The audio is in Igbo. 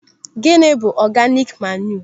Gịnị bụ ọganik manịụ?